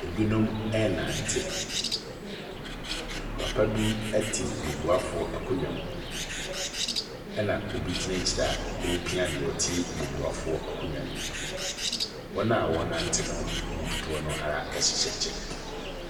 Binom ɛrenante, papa bi te bubuafo akonnwa mu na obi gyina akyi a ɔrepia deɛ ɔte bubuafo akonnwa mu no, wɔn a wɔrenante ne mu dodoɔ ara hyɛ kyɛ.